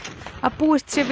að búist sé við